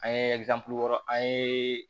An ye wɔɔrɔ an ye